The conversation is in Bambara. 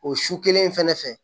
O su kelen in fɛnɛ fɛ